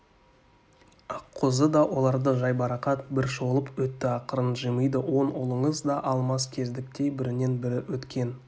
аққозы да оларды жайбарақат бір шолып өтті ақырын жымиды он ұлыңыз да алмас кездіктей бірінен-бірі өткен